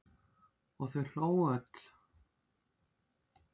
Og þau hlógu öll.